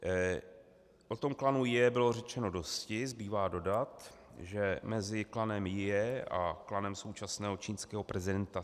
O tom klanu Jie bylo řečeno dosti, zbývá dodat, že mezi klanem Jie a klanem současného čínského prezidenta